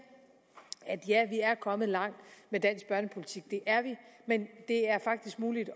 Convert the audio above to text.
ja vi er kommet langt med dansk børnepolitik det er vi men det er faktisk muligt